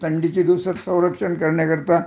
थंडीच्या दिवसात संरक्षण करण्याकरता